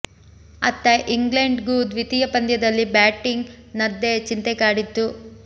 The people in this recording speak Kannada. ಅತ್ತ ಇಂಗ್ಲೆಂಡ್ ಗೂ ದ್ವಿತೀಯ ಪಂದ್ಯದಲ್ಲಿ ಬ್ಯಾಟಿಂಗ್ ನದ್ದೇ ಚಿಂತೆ ಕಾಡಿತ್ತು